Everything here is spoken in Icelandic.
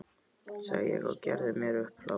sagði ég og gerði mér upp hlátur.